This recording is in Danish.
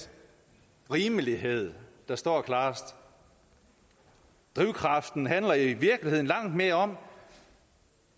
rimelighed der står klarest drivkraften handler i virkeligheden langt mere om